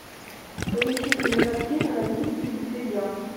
поищи кинокартину родительский беспредел